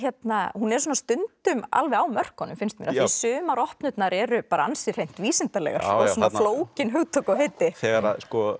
hún er svona stundum alveg á mörkunum finnst mér af því sumar eru ansi hreint vísindalegar og svona flókin hugtök og heiti þegar að